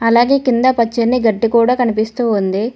అలాగే కింద పచ్చని గడ్డి కూడా కనిపిస్తూ ఉంది.